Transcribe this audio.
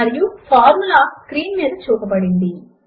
మరియు formula screen మీద చూపబడింది